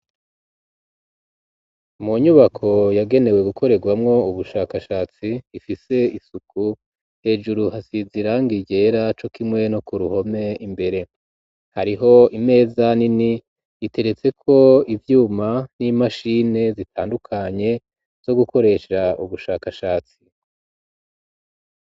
Mu nyubako yagenewe gukorerwamwo ubushakashatsi ifise isuku hejuru hasize ibara ryera cokimwe no ku ruhome imbere hariho imeza nini itegetseko ivyuma n'imashini zitandukanye zo gukoresha ubushakashatsi